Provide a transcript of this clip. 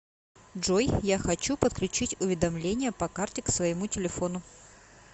джой я хочу подключить уведомления по карте к своему телефону